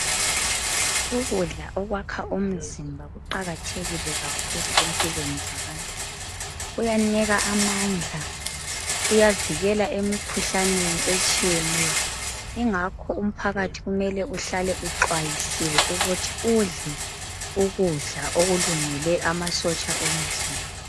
Ukudlala okwakha umzimba kuqakathekile kakhulu empilweni zabantu bonke uyanika amandla, uyavikela emkhuhlaneni etshiyeneyo yingakho umphakathi kumele uhlale uxwayisiwe ukuthi udle ukudla okulungele amasotsha omzimba